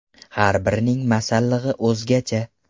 Har birining ‘masallig‘i’ o‘zgacha.